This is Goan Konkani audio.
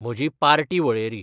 म्हजी पार्टी वळेरी